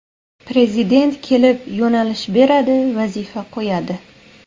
Prezident kelib yo‘nalish beradi, vazifa qo‘yadi.